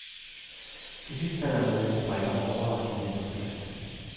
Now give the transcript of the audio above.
Til sidst falder en masse brikker overraskende let på plads.